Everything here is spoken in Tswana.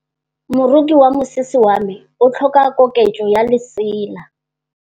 Moroki wa mosese wa me o tlhoka koketsô ya lesela.